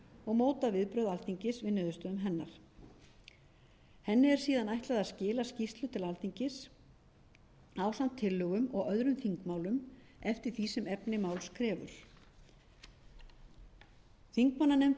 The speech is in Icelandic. og móta viðbrögð alþingis við niðurstöðum hennar henni er síðan ætlað að skila skýrslu til alþingi ásamt tillögum og öðrum þingmálum eftir því sem efni máls krefur þingmannanefndin getur